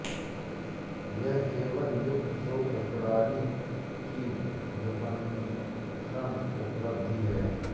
यह केवल मुक्त स्रोत प्रणाली वी व्युत्पन्न उपलब्ध है